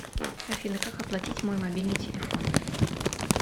афина как оплатить мой мобильный телефон